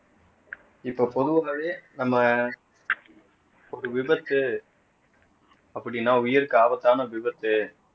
இப்ப பொதுவாகவே நம்ம ஒரு விபத்து அப்படின்னா உயிருக்கு ஆபத்தான விபத்து